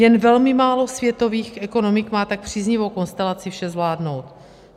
Jen velmi málo světových ekonomik má tak příznivou konstelaci vše zvládnout.